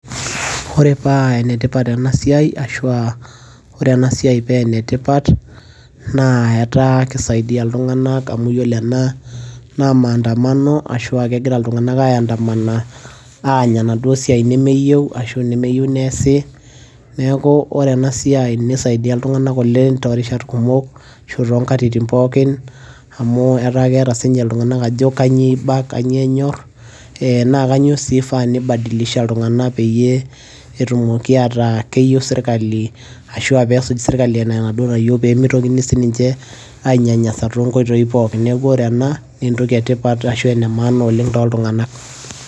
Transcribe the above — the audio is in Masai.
ore paa enetipat ena siai ashua ore ena siai paa enetipat naa etaa kisaidia iltung'anak amu yiolo ena naa maandamano ashua kegira iltung'anak ae andamana aany enaduo siai nemeyieu ashu nemeyieu neesi neeku ore ena siai nisaidia iltung'anak oleng torishat kumok ashu tonkatitin pookin amu etaa keeta sinye iltung'anak ajo kanyio iba kanyio eiba kanyio enyorr eh, naa kanyio sii ifaa nibadilisha iltung'anak peyie etumoki ataa keyieu sirkali ashua pesuj sirkali ena enaduo nayieu pemitokini sininche ainyanyasa tonkoitoi pookin neeku ore ena naa entoki etipat ashu ene maana oleng toltung'anak.